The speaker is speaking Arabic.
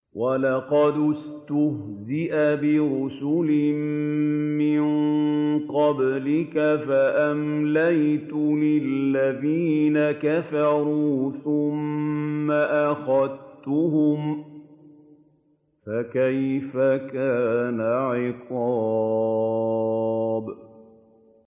وَلَقَدِ اسْتُهْزِئَ بِرُسُلٍ مِّن قَبْلِكَ فَأَمْلَيْتُ لِلَّذِينَ كَفَرُوا ثُمَّ أَخَذْتُهُمْ ۖ فَكَيْفَ كَانَ عِقَابِ